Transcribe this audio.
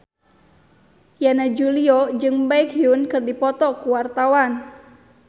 Yana Julio jeung Baekhyun keur dipoto ku wartawan